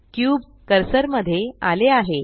cube cursor मध्ये आले आहे